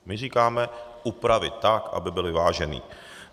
My říkáme upravit tak, aby byl vyvážený.